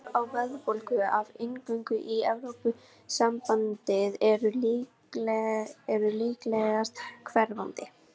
Áhrifin á verðbólgu af inngöngu í Evrópusambandið eru líklegast hverfandi.